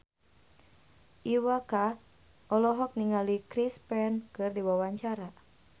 Iwa K olohok ningali Chris Pane keur diwawancara